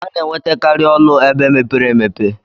Ana enwete kari ọlụ ebe mepere emepe.